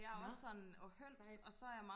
nå sejt